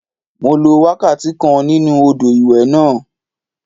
Mo lo wákàtí kan nínú odò ìwẹ̀ náà